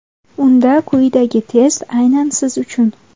Unda quyidagi test aynan siz uchun.